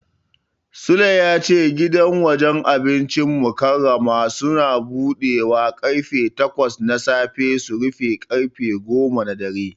Sule ya ce gidan wajen abincin Mukarramah Suns budewa karfe takwas na safe su rufe karfe goma na dare.